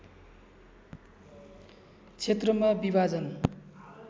क्षेत्रमा विभाजन